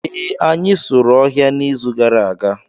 ee, anyị sụrụ ọhịa n'izu gara aga